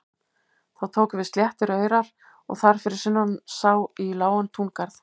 Þá tóku við sléttir aurar og þar fyrir sunnan sá í lágan túngarð.